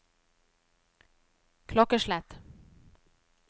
klokkeslett